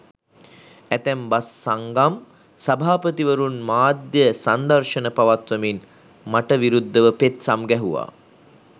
ඇතැම් බස් සංගම් සභාපතිවරුන් මාධ්‍ය සංදර්ශන පවත්වමින් මට විරුද්ධව පෙත්සම් ගැහුවා.